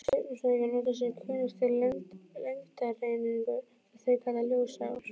Stjörnufræðingar nota sem kunnugt er lengdareiningu, sem þeir kalla ljósár.